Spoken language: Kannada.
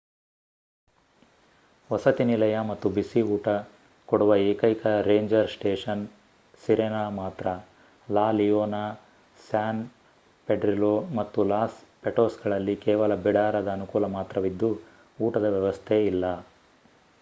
ವಸತಿನಿಲಯ ಮತ್ತು ಬಿಸಿ ಊಟ ಕೊಡುವ ಏಕೈಕ ರೇಂಜರ್ ಸ್ಟೇಷನ್ ಸಿರೆನಾ ಮಾತ್ರ ಲಾ ಲಿಯೋನ ಸ್ಯಾನ್ ಪೆಡ್ರಿಲೋ ಮತ್ತು ಲಾಸ್ ಪಟೋಸ್ಗಳಲ್ಲಿ ಕೇವಲ ಬಿಡಾರದ ಅನುಕೂಲ ಮಾತ್ರವಿದ್ದು ಊಟದ ವ್ಯವಸ್ಥೆ ಇಲ್ಲ